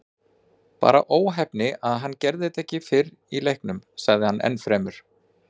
Bara óheppni að hann gerði þetta ekki fyrr í leiknum, sagði hann ennfremur.